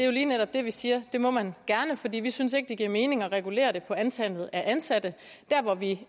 jo lige netop vi siger det må man gerne fordi vi ikke synes at det giver mening at regulere det på antallet af ansatte der hvor vi